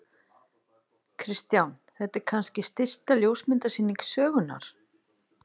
Kristján: Þetta er kannski stysta ljósmyndasýning sögunnar?